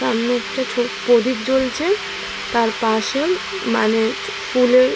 সামনে একটি ছোট প্রদীপ জ্বলছে তার পাশে মানে ফুলের--